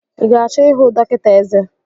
I ga-achọ ịhụ dọkịta eze?